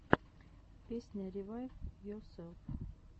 песня ревайвйоселф